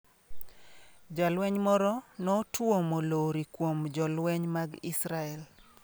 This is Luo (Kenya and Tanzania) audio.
Jalweny moro notuomo lori kuom jolweny mag Israel